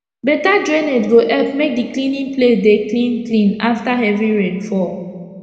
better drainage go epp make d cleaning place dey clean clean after heavy rain fall